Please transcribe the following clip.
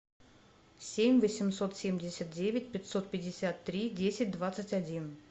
семь восемьсот семьдесят девять пятьсот пятьдесят три десять двадцать один